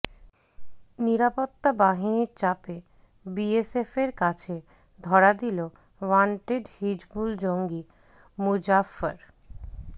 নিরাপত্তা বাহিনীর চাপে বিএসএফের কাছে ধরা দিল ওয়ান্টেড হিজবুল জঙ্গি মুজাফফর